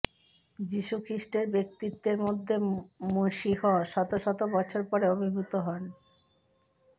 যিশু খ্রিস্টের ব্যক্তিত্বের মধ্যে মশীহ শত শত বছর পরে আবির্ভূত হন